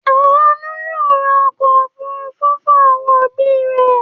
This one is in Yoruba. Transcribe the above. Àánú yóò ra ọkọ̀-òfurufú fún àwọn òbí rẹ̀.